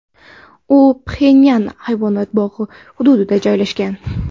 U Pxenyan hayvonot bog‘i hududida joylashgan.